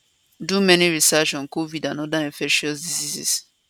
do many research on covid and oda infectious diseases